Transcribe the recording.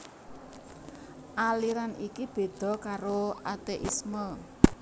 Aliran iki béda karo ateisme